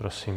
Prosím.